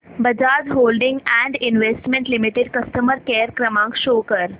Bajaj holdings and investment limited customer care क्रमांक show कर